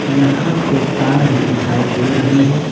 यहां पे तार भी दिखाई दे रही है।